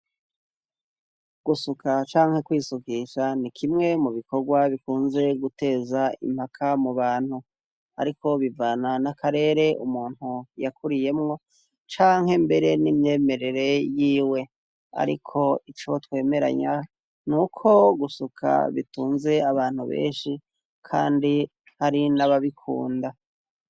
Gusuka canke kwisukisha ni kimwe mu bikorwa bikunze guteza impaka mu bantu, ariko bivana n'akarere umuntu yakuriyemwo canke mbere n'imyemerere yiwe, ariko ico twemeranya ni uko gusuka bitunze abantu be eshi, kandi hari nababikunda.